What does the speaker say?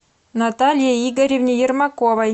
наталье игоревне ермаковой